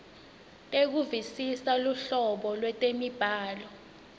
tekuvisisa luhlobo lwetemibhalo